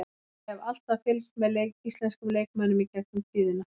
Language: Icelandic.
Ég hef alltaf fylgst með íslenskum leikmönnum í gegnum tíðina.